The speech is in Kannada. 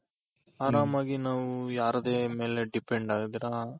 ಆರಾಮಾಗಿ ನಾವು ಯಾರದೇ ಮೇಲೆ depend ಆಗ್ದಿರ